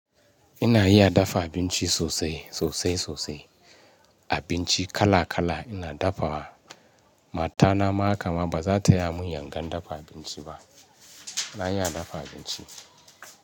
Ina iya dafa abinci sosai, sosai sosai. Abinci kala kala ina dafawa. Mata na ma hakama ba za ta ya mun yangan dafa abinci ba. Na iya dafa abinci.